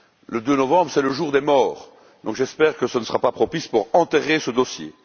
Le 2 novembre, c'est le jour des morts. Aussi, j'espère que ce ne sera pas propice pour enterrer ce dossier.